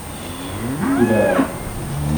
Vsi vejo.